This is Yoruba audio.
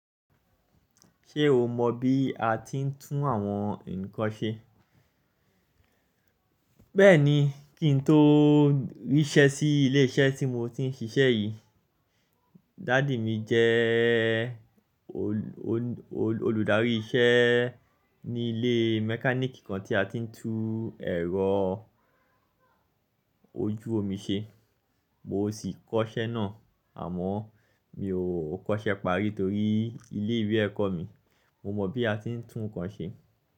Ṣé o mọ bí a ti ń tún àwọn nǹkan ṣe? Bẹ́ẹ̀ni, kí n tó ríṣẹ́ sí ilé iṣẹ́ tí mo ti ń ṣiṣẹ́ yìí, daddy mi jẹ́ olùdarí iṣẹ́ ní ilé mechanic kan tí a ti ń tún ẹ̀rọ ojú omi ṣe. Mo sì kọ́ṣẹ́ náà àmọ́ mi ò kọ́ṣẹ́ parí torí ilé ìwé ẹ̀kọ́ mi. Mo mọ̀ bí a ti ń tún nǹkan ṣe.